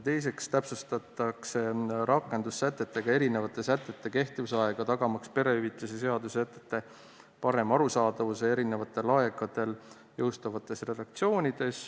Teiseks täpsustatakse rakendussätetega teatud sätete kehtivuse aega, tagamaks perehüvitiste seaduse sätete parem arusaadavus eri aegadel jõustuvates redaktsioonides.